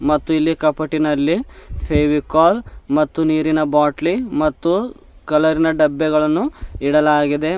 ಮತ್ತು ಇಲ್ಲಿ ಕಪಟ್ಟಿನಲ್ಲಿ ಫೇವಿಕೊಲ್ ಮತ್ತು ನೀರಿನ ಬಾಟಲಿ ಮತ್ತು ಕಲರ್ ಇನ ಡಬ್ಬೆ ಗಳನ್ನು ಇಡಲಾಗಿದೆ.